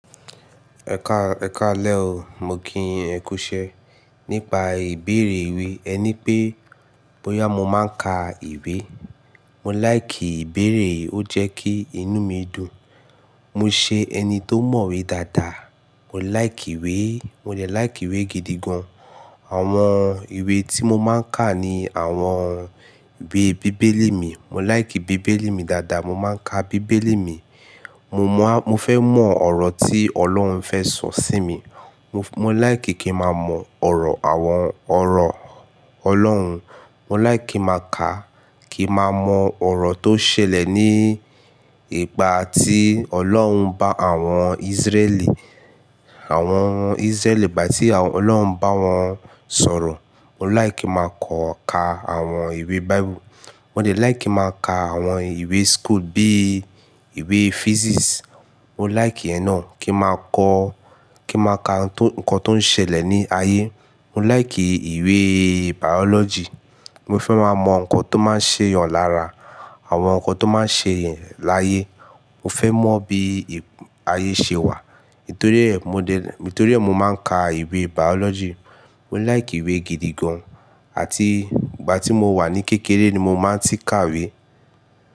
Ẹ kaalẹ́ o, mo kí yin ẹ kú iṣẹ́. Nípa ìbéèrè ìwé, ẹ ní pé bóyá mo máa ń ka ìwé. Mo láìkìí ibéèrè yi, ó jẹ́ kí inú mi dùn. Mo ṣe ẹni tó mọ̀wé dáadáa. Mo láìkìí ìwé, mo lè láìkí ìwé gidi gan. Àwọn ìwé tí mo máa ń ka ni àwọn ìwé bíbélì mi. Mo láìkí bíbélì mi dáadáa, mo máa ń ka bíbélì mi. Mo mọ̀, mo fẹ́ mọ ọ̀rọ̀ tí Ọlọ́run fẹ́ sọ sí mi. Mo, mo láì kí kí n máa mọ ọ̀rọ̀ àwọn ọ̀rọ̀ Ọlọ́run. Mo láì kí máa ka kí n máa mọ ọ̀rọ̀ tó ṣẹlẹ̀ ní ìgbà tí Ọlọ́run bá àwọn Ísírẹ́ẹ̀lì, àwọn Ísírẹ́ẹ̀lì ìgbà tí àwọn Ọlọ́run bá wọn sọ̀rọ̀. Mo láì kí máa kan ka àwọn ìwé báíbù. Mo dè like kí máa ka àwọn ìwé school bí ìwé physics. Mo lìke iyẹn náà kí n máa kọ, kí n máa ka nǹkan tó ń ṣẹlẹ̀ ní ayé. Mo láì kí ìwé biology. Mo fẹ́ máa mọ nǹkan tó máa ń ṣe eeyàn lára, àwọn nǹkan tó máa ń ṣele láyé. Mo fẹ́ mọ bí ayé ṣe wà. Nítorí ẹ, mo de, nítorí ẹ, mo máa ń ka ìwé biology. Mo láì kí ìwé gidi gan, àti ìgbà tí mo wà ní kékeré ni mo máa ń tí ka ìwé.